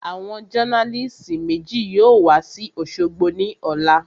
Àwọn jọ́nálìsì méjì yóò wa sí òṣogbo ní ọ̀la